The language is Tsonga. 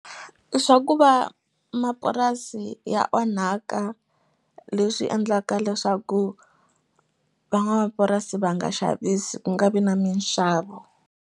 Swa ku va mapurasi ya onhaka leswi endlaka leswaku van'wamapurasi va nga xavisi ku nga vi na minxavo